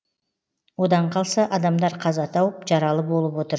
одан қалса адамдар қаза тауып жаралы болып отыр